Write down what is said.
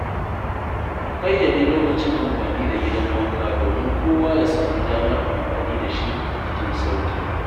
A ƙayyade lokacin amfani da gidan wanka domin kowa ya sami damar amfani da shi cikin sauƙi.